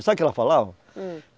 Sabe o que ela falava? Hum